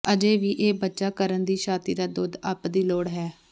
ਅਜੇ ਵੀ ਇਹ ਬੱਚਾ ਕਰਨ ਦੀ ਛਾਤੀ ਦਾ ਦੁੱਧ ਅਪ ਦੀ ਲੋੜ ਹੈ